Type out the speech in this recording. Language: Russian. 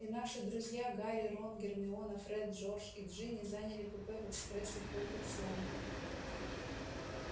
и наши друзья гарри рон гермиона фред джордж и джинни заняли купе в экспрессе хогвартс лондон